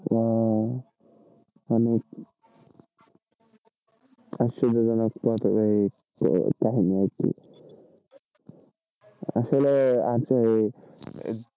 উম মানে আসলে কাহিনি আরকি আসলে আচ্ছা এই,